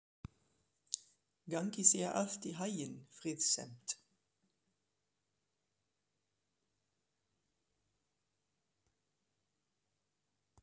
Gangi þér allt í haginn, Friðsemd.